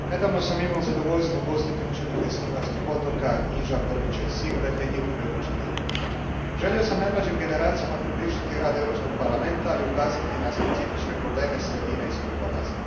Poštovani gospodine predsjedniče, nedavno sam imao zadovoljstvo ugostiti učenike s hrvatskih otoka Iža, Prvića i Silbe te njihove učitelje. Želio sam najmlađim generacijama približiti rad Europskog parlamenta, ali i ukazati na specifične probleme sredina iz kojih dolaze.